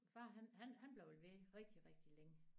Far han han han blev ved rigtig rigtig længe